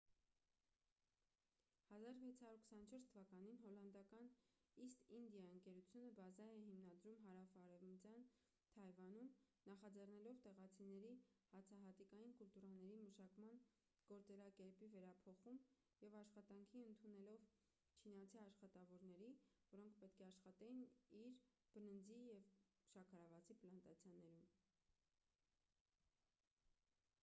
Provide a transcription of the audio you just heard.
1624 թվականին հոլանդական իսթ ինդիա ընկերությունը բազա է հիմնադրում հարավարևմտյան թայվանում նախաձեռնելով տեղացիների հացահատիկային կուլտուրաների մշակման գործելակերպի վերափոխում և աշխատանքի ընդունելով չինացի աշխատավորների որոնք պետք է աշխատեին իր բրնձի և շաքարավազի պլանտացիաներում